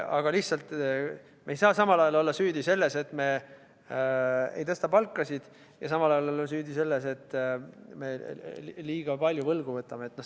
Aga lihtsalt me ei saa samal ajal olla süüdi selles, et me ei tõsta palkasid, ja samal ajal olla süüdi selles, et me liiga palju võlgu võtame.